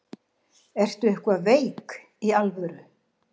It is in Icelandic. Ertu eitthvað veik. í alvöru?